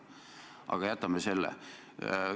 Aga jätame selle.